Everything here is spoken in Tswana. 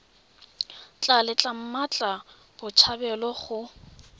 tla letla mmatla botshabelo go